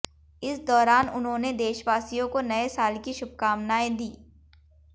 इस दौरान उन्होंने देशवासियों को नए साल की शुभकामनाएं दीं